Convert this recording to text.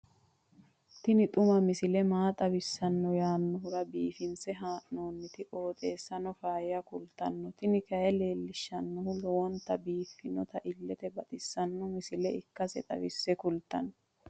tini xuma misile maa xawissanno yaannohura biifinse haa'noonniti qooxeessano faayya kultanno tini kayi leellishshannori lowonta biiffinota illete baxissanno misile ikkase xawisse kultanno.